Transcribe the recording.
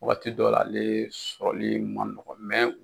Waati dɔ la ale sɔrɔli man nɔgɔ